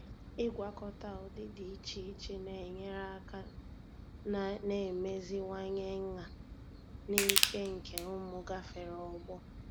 ịgwakọta ụdị dị iche iche na-enyere aka na-emeziwanye nha na ike nke ụmụ gafere ọgbọ.